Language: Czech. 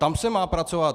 Tam se má pracovat.